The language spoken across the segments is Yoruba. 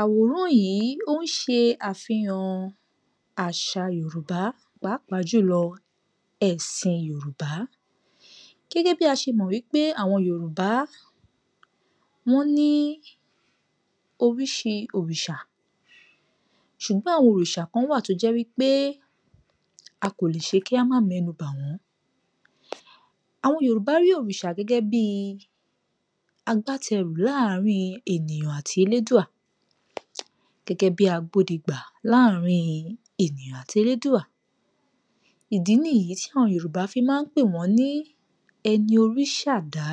Àwòrán yìí ó ń ṣe àfihàn àṣà Yorùbá pàápàá jùlọ ẹ̀sìn Yorùbá. Gẹ́gẹ́ bí a ṣe mọ̀ wípé àwọn Yorùbá wọ́n ní oríṣi òrìṣà, ṣùgbọ́n àwọn òrìṣà kan wà tó jẹ́ wípé a kò lè ṣe kí a má mẹ́nubà wọ́n. Àwọn Yorùbá rí òrìṣà gẹ́gẹ́ bí i agbátẹrù láàrin ènìyàn àti elédùà, gẹ́gẹ́ bí agbódegbà láàrín ènìyàn àti elédùà, ìdí nìyí tí àwọn Yorùbá fi máa ń pè wọ́n ní ẹni orí ṣà dá,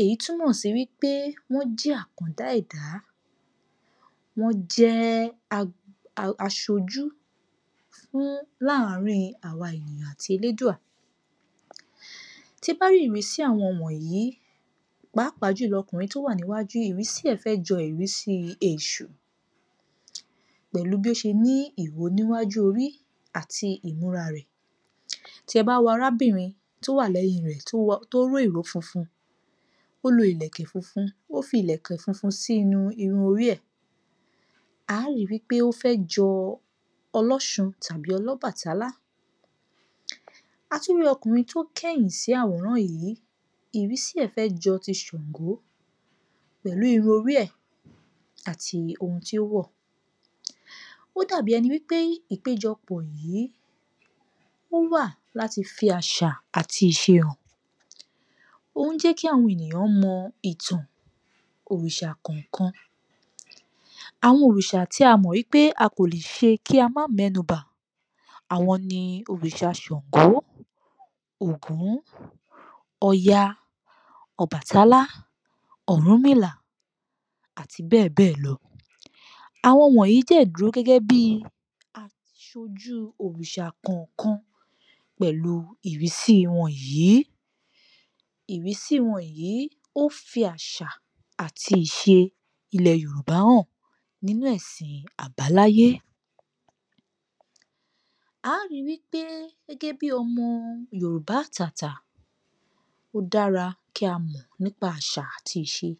èyí tó túmọ̀ sí wípé wọ́n jẹ́ àkàndá ẹ̀dá, wọ́n jẹ́ a[um] aṣojú fún, láàrín àwa ènìyàn àti elédùà. Tí ẹ bá rí ìrísí àwọn wọ̀nyí, pàápàá jùlọ ọmọkùnrin tó wà níwájú yìí, ìrísí ẹ̀ fẹ́ jọ ìrísí èṣù, pẹ̀lú bí ó ṣe ní ìwo níwájú orí àti ìmúra rẹ̀, tí ẹ bá wo arábìnrin tó wà lẹ́yìn rẹ̀ tó wọ, tó ró ìró funfun, ó lo ìlẹ̀kẹ̀ funfun, ó fi ìlẹ̀kẹ̀ funfun sí inú irun orí ẹ̀, a ó ri wípé ó fẹ́ jọ ọlọ́sun tàbí ọlọ́bàtálá, a tún rí ọkùnrin tó kẹ̀yìn sí àwòrán yìí, ìrísí ẹ̀ fẹ́ jọ ti ṣàngó, pẹ̀lú irun orí ẹ̀ àti ohun tí ó wọ̀. Ó dàbí ẹni wípé ìpẹ́jọ pọ̀ yìí ó wà láti fi àṣà àti ìṣe hàn, ó ń jẹ́ kí àwọn ènìyàn mọ ìtàn òrìṣà kọ̀ọ̀kan, àwọn òrìṣà tí a mọ̀ wípé a kò lè ṣe kí a má mẹ́nubà, àwọn ni òrìṣà ṣàngó, ògún, ọya, ọbàtálá, ọ̀rúnmìlà, àti bẹ́ẹ̀ bẹ́ẹ̀ ló. Àwọn wọ̀nýi dẹ̀ dúró gẹ́gẹ́ bí aṣojú òrìṣà kọ̀ọ̀kan pẹ̀lú ìrísí wọn yìí. Ìrísí wọn yìí, ó ń fi àṣà àti ìṣe ilẹ̀ yorùbá hàn nínú ẹ̀sìn àbáláyé. À á ri wípé gẹ́gẹ́ bí ọmọ Yorùbá àtàtà, ó dára kí a mọ̀ nípa àṣà àti ìṣe